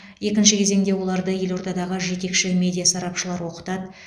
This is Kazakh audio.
екінші кезеңде оларды елордадағы жетекші медиа сарапшылар оқытады